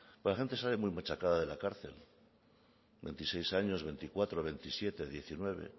la gente sale muy machacada de la cárcel veintiséis años veinticuatro veintisiete diecinueve